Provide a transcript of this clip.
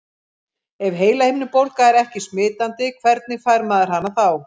Ef heilahimnubólga er ekki smitandi, hvernig fær maður hana þá?